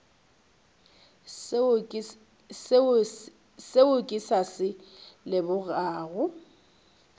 seo ke sa se lebogago